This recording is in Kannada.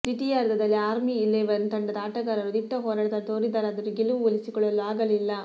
ದ್ವಿತೀಯಾರ್ಧದಲ್ಲಿ ಆರ್ಮಿ ಇಲೆವೆನ್ ತಂಡದ ಆಟಗಾರರು ದಿಟ್ಟ ಹೋರಾಟ ತೋರಿದರಾದರೂ ಗೆಲುವು ಒಲಿಸಿಕೊಳ್ಳಲು ಆಗಲಿಲ್ಲ